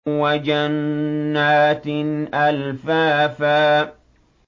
وَجَنَّاتٍ أَلْفَافًا